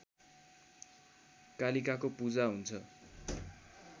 कालिकाको पूजा हुन्छ